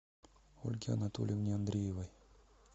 ольге анатольевне андреевой